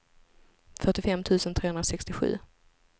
fyrtiofem tusen trehundrasextiosju